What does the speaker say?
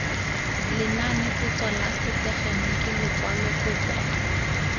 lenanepotso la setegeniki lekwalo kopo